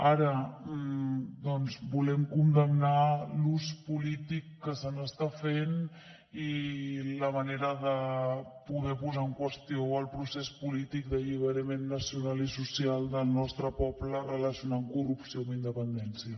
ara doncs volem condemnar l’ús polític que se n’està fent i la manera de poder posar en qüestió el procés polític d’alliberament nacional i social del nostre poble relacionant corrupció amb independència